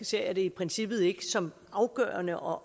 ser jeg det i princippet ikke som afgørende og